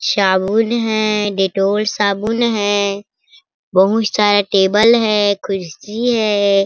शाबुन है डेटॉल साबुन है बहुत सारे टेबल है कुर्सी हैं ।